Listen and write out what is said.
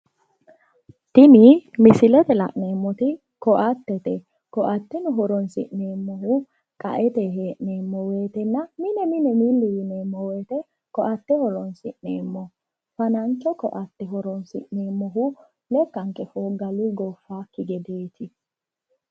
Tini misilete la'neemmoti ko"attete ko"atteno horonsi'neemmohu qa"ete hee'neemmo woyiitenna mine mine milli yineemmo woyiite ko"atte horoonsi'neemmo fanancho ko"atte horoonsi'neemmohu lekkanke fooggaluyi gooffaakki gedeeti